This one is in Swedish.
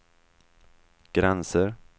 gränser